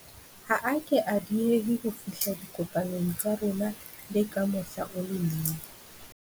Ha a ke a dieha ho fihla dikopanong tsa rona le ka mohla o le mong.